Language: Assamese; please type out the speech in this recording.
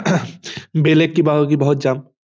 বেলেগ কিবা হয় কিবাহত যাম